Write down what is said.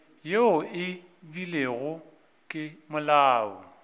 yeo e beilwego ke molao